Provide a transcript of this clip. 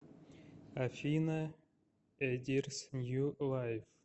афина эдирс нью лайв